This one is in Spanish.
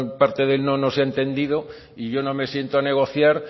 parte del no no has entendido y yo no me siento a negociar